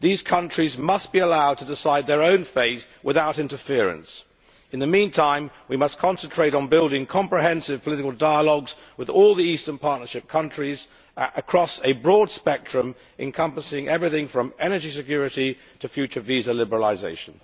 These countries must be allowed to decide their own fate without interference. In the meantime, we must concentrate on building comprehensive political dialogues with all the Eastern Partnership countries across a broad spectrum, encompassing everything from energy security to future visa liberalisation.